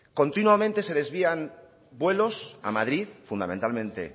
continuamente se desvían vuelos a madrid fundamentalmente